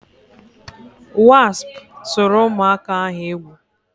Wasps tụrụ ụmụaka ahụ egwu